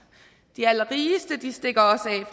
de allerrigeste stikker også